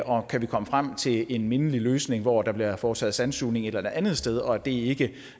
og kan vi komme frem til en mindelig løsning hvor der bliver foretaget sandsugning et andet sted og det ikke